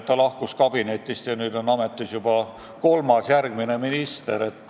Ta lahkus kabinetist, aga nüüd on ametis juba kolmas minister.